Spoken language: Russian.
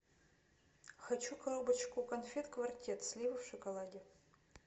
хочу коробочку конфет квартет слива в шоколаде